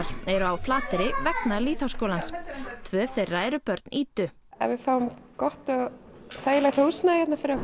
eru á Flateyri vegna lýðháskólans tvö þeirra eru börn Ídu ef við fáum gott og þægilegt húsnæði